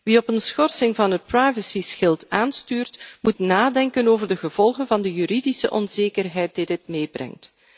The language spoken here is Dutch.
Wie op een schorsing van het privacyschild aanstuurt, moet nadenken over de gevolgen van de juridische onzekerheid die dit met zich meebrengt.